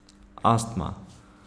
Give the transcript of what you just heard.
Astma.